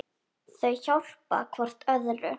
Þau hjálpa hvort öðru.